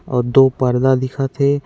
अउ दो पर्दा दिखत हे।